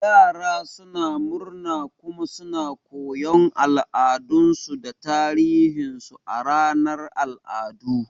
Yara suna murna kuma suna koyon al'adunsu da tarihinsu a ranar al'adu.